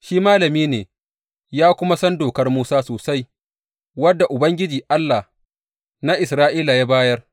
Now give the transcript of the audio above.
Shi malami ne ya kuma san Dokar Musa sosai wadda Ubangiji, Allah na Isra’ila ya bayar.